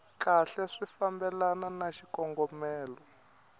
kahle swi fambelana na xikongomelo